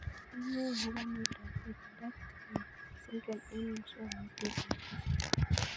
Inae akopo miondop polydactyly syndrome eng' muswognatet ab kasari